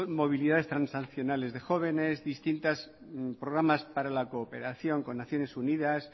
movilidad transaccionales de jóvenes distintas programas para la cooperación con naciones unidas